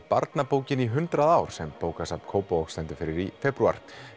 barnabókin í hundrað ár sem bókasafn Kópavogs stendur fyrir í febrúar